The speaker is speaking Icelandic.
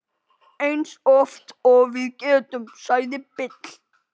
Eins oft og við getum, sagði Bill.